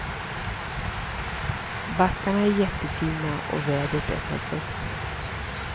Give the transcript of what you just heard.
Backarna är jättefina och vädret är perfekt.